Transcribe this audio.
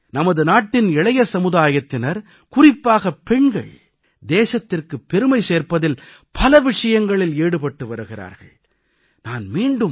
உண்மையிலேயே நமது நாட்டின் இளைய சமுதாயத்தினர் குறிப்பாகப் பெண்கள் தேசத்திற்குப் பெருமை சேர்ப்பதில் பல விஷயங்களில் ஈடுபட்டு வருகிறார்கள்